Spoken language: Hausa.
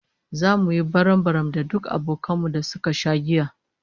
Zamu yi barambaram da duk abokan mu da suka sha giya